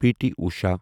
P T Usha